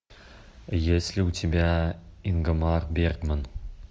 есть ли у тебя ингмар бергман